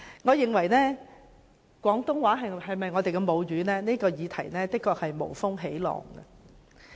我認為廣東話是否我們的母語這議題，的確是無風起浪。